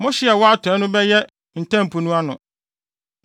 Mo hye a ɛwɔ atɔe no bɛyɛ Ntam Po no ano.